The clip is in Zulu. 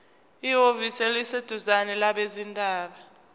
ehhovisi eliseduzane labezindaba